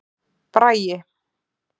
Bragi